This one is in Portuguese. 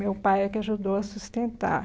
Meu pai é que ajudou a sustentar.